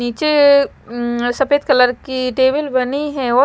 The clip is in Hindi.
नीचे सफेद कलर की टेबल बनी है।